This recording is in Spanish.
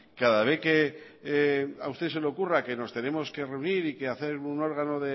cada vez que a usted se le ocurra que nos tenemos que reunir y hacer un órgano